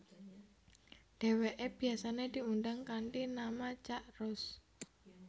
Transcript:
Dheweke biasane diundang kanthi nama Cak Roes